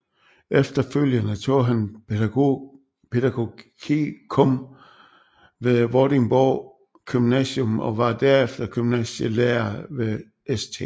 Efterfølgende tog han pædagogikum ved Vordingborg Gymnasium og var derefter gymnasielærer ved St